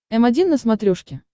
м один на смотрешке